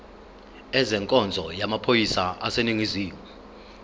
ezenkonzo yamaphoyisa aseningizimu